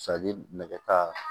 nɛgɛ ta